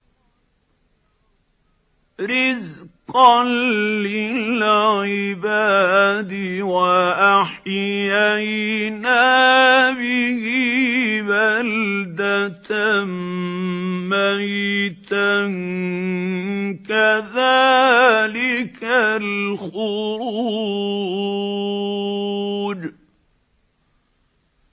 رِّزْقًا لِّلْعِبَادِ ۖ وَأَحْيَيْنَا بِهِ بَلْدَةً مَّيْتًا ۚ كَذَٰلِكَ الْخُرُوجُ